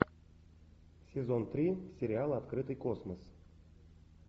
сезон три сериал открытый космос